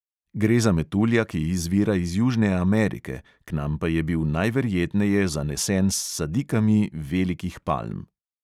Gre za metulja, ki izvira iz južne amerike, k nam pa je bil najverjetneje zanesen s sadikami velikih palm.